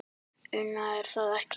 Una: Er það ekki?